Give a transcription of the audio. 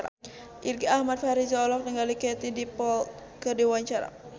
Irgi Ahmad Fahrezi olohok ningali Katie Dippold keur diwawancara